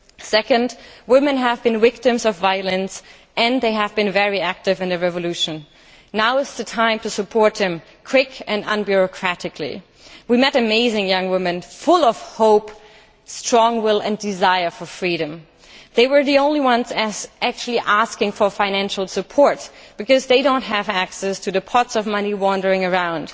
Secondly, women have been victims of violence and they have been very active in the revolution. Now is the time to support them quickly and unbureaucratically. We met amazing young women full of hope, with a strong will and a desire for freedom. They were the only ones actually asking for financial support because they do not have access to the pots of money wandering around.